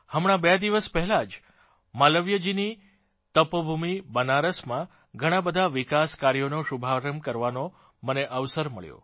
હમણાં બે દિવસ પહેલાં જ માલવીયજીની તપોભૂમિ બનારસમાં ઘણાં બધા વિકાસ કાર્યોંનો શુભારંભ કરવાનો મને અવસર મળ્યો